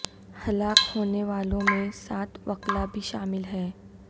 ہلاک ہونے والوں میں سات وکلاء بھی شامل ہیں